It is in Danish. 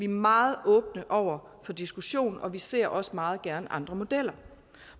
meget åbne over for diskussion og vi ser også meget gerne andre modeller